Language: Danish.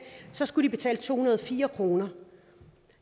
skulle de betale to hundrede og fire kroner